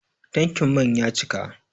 Tankin man ya cika